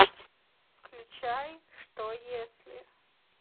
включай что если